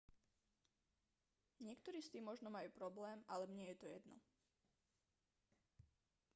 niektorí s tým možno majú problém ale mne je to jedno